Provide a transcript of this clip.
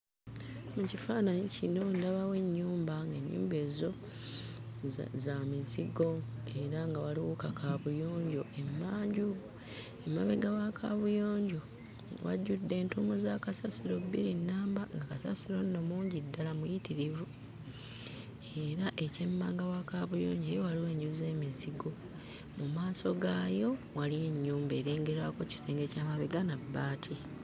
Mu kifaananyi kino ndabawo ennyumba ng'ennyumba ezo za za mizigo era nga waliwo kakaabuyonjo emmanju. Emabega wa kaabuyonjo wajjudde entuumu za kasasiro bbiri nnamba nga kasasiro nno mungi ddala muyitirivu era ekyemmanga wa kaabuyinjo eyo waliwo enju z'emizigo. Mu maaso gaayo waliyo ennyumba erengerwako kisenge kya mabega na bbaati.